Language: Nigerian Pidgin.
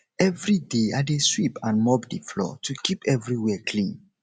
every day i dey sweep and mop the floor to keep everywhere clean